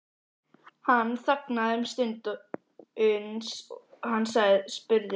Hann þagði um stund uns hann spurði